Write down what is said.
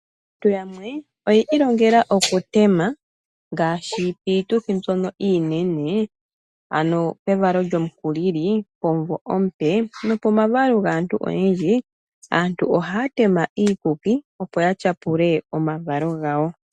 Aantu yamwe oyi ilongela oku tema ngaashi piituthi mbyono iinene ano evalo lyomukulili, omuvo omupe nopomavalo gaantu oyendji. Aantu ohaya tema iikuki opo ya tyapule omavalo gawo.